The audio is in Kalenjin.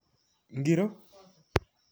Ngiro?